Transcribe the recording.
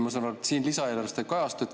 Ma saan aru, et siin lisaeelarves see ei kajastu.